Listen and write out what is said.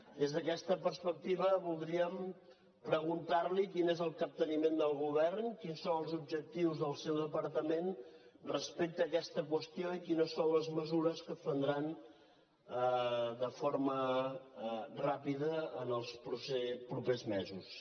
des d’aquesta perspectiva voldríem preguntar li quin és el capteniment del govern quins són els objectius del seu departament respecte a aquesta qüestió i quines són les mesures que es prendran de forma ràpida en els propers mesos